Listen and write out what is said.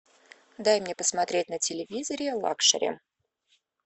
дай мне посмотреть на телевизоре лакшери